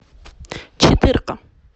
четырка